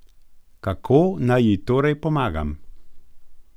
Kako naj ji torej pomagam?